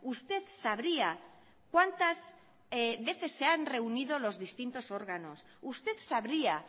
usted sabría cuántas veces se han reunido los distintos órganos usted sabría